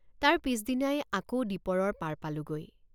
তাৰ পিচদিনাই আকৌ দীপৰৰ পাৰ পালোঁগৈ।